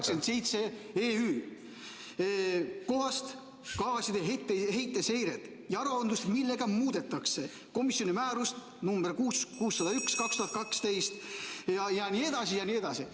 ... 2003/87/EÜ kohast kasvuhoonegaaside heite seiret ja aruandlust ning millega muudetakse komisjoni määrust nr 601/2012 jne, jne.